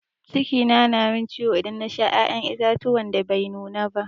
Ciki na min ciwo idan na Sha ya'yan itatuwa da Bai nuna ba.